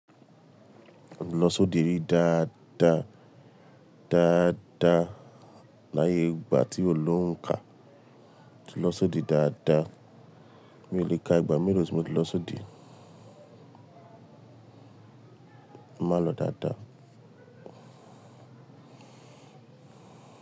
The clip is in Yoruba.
Mo ti lọ sóde dáadáa, dáadáa láyé ìgbà tí ò ló òhún kà. Mo ti lọ sóde dáadáa, mi ò lè ka ìgbà mélòó tí mo ti lọ sóde Màá n lọ dáadáa.